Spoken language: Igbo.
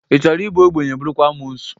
Ị chọrọ ị bụ obenye, bụrụkwa amuosu?